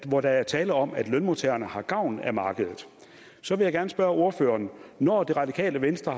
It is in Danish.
hvor der er tale om at lønmodtagerne har gavn af markedet så vil jeg gerne spørge ordføreren når det radikale venstre